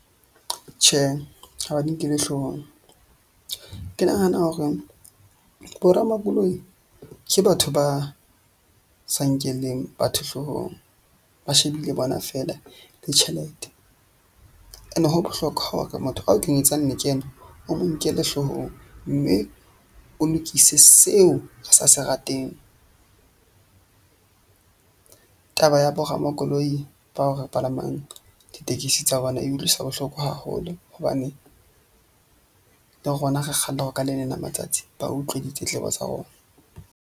Tjhe, ha ba di nkelle hloohong. Ke nahana hore bo ramakoloi ke batho ba sa nkeleng batho hloohong ba shebile bona feela le tjhelete. Ene ho bohlokwa hore motho a o kenyetsang lekeno o mo nkele hloohong, mme o lokise seo a sa se rateng. Taba ya bo ramakoloi bao re palamang ditekesi tsa bona e utlwisa bohloko haholo. Hobane le rona re kgalla hore ka leleng la matsatsi, ba utlwe ditletlebo tsa rona.